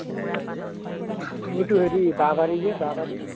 সেইটো হেৰি বাঁহবাৰী যে বাঁহবাৰী